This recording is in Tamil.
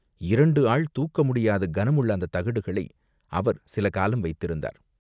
இரண்டு ஆள் தூக்க முடியாத கனமுள்ள அந்தத் தகடுகளை அவர் சில காலம் வைத்திருந்தார்.